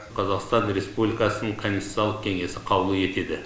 қазақстан республикасының конституциялық кеңесі қаулы етеді